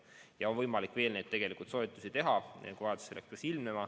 Ja on võimalik veel neid soetada, kui vajadus peaks ilmnema.